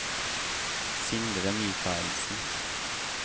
Sindre Michaelsen